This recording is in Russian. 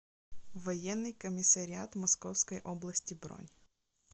военный комиссариат московской области бронь